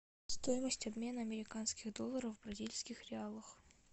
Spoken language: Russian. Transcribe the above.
стоимость обмена американских долларов в бразильских реалах